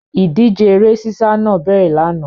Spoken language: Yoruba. Ìdíje eré sísá náà bẹ̀rẹ̀ lánàá.